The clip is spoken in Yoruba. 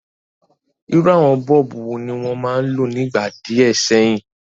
Irú àwon bulb wo ni won ma n lo nígbà díẹ̀ séyìn?